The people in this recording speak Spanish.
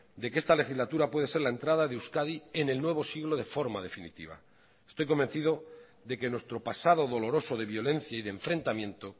de que esta legislatura puede ser la entrada de euskadi en el nuevo siglo de forma definitiva estoy convencido de que nuestro pasado doloroso de violencia y de enfrentamiento